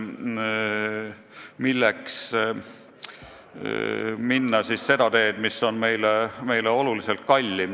Milleks ikkagi minna seda teed, mis on meile oluliselt kallim.